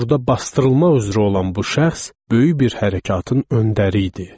Burda basdırılma üzrə olan bu şəxs böyük bir hərəkatın öndəri idi.